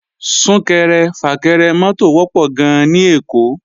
Sún-kẹrẹ-fà-kẹrẹ mọ́tò wọ́pọ̀ gan-an ní Èkó